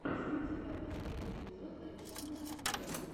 есть ли у тебя последний эпизод александра андреянова